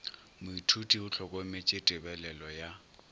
moithuti o hlokometše tebelelo ya